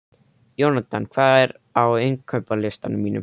Jónatan, hvað er á innkaupalistanum mínum?